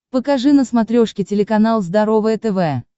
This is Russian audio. покажи на смотрешке телеканал здоровое тв